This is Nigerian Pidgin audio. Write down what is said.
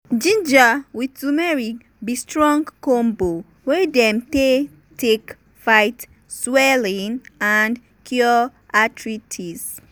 ginger with turmeric be strong combo wey dem dey take fight swelling and cure arthritis.